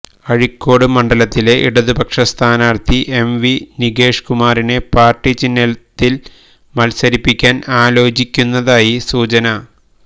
അഴീക്കോട് മണ്ഡലത്തിലെ ഇടതുപക്ഷ സ്ഥാനാര്ത്ഥി എം വി നികേഷ് കുമാറിനെ പാര്ട്ടി ചിഹ്നത്തില് മത്സരിപ്പിക്കാന് ആലോചിക്കുന്നതായി സൂചന